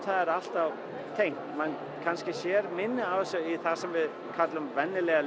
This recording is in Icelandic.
það sé alltaf tengt maður kannski sér minna af þessu í það sem við köllum venjulega